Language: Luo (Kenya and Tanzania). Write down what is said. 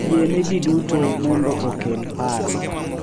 Yie ne ji duto mondo okel paro